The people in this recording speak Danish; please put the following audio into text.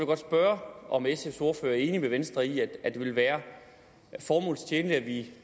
godt spørge om sfs ordfører er enig med venstre i at det ville være formålstjenligt at vi